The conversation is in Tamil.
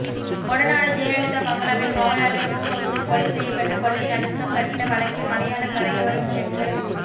கொடநாடு ஜெயலலிதா பங்களாவில் காவலாளி ஓம்பகதூர் கொலை செய்யப்பட்டு கொள்ளை நடக்கப்பட்ட வழக்கில் மலையாள கரையோரம் சென்று